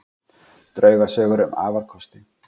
Draugasögur um afarkosti